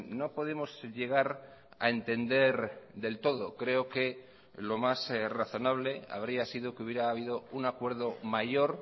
no podemos llegar a entender del todo creo que lo más razonable habría sido que hubiera habido un acuerdo mayor